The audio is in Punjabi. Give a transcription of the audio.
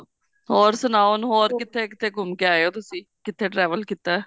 ਹੋਰ ਸੁਨਾਓ ਹੋਰ ਕਿੱਥੇ ਕਿੱਥੇ ਘੁੰਮ ਕੇ ਆਏ ਹੋ ਤੁਸੀਂ ਕਿੱਥੇ travel ਕੀਤਾ